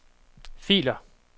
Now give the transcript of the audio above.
filer